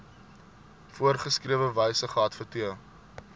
voorgeskrewe wyse geadverteer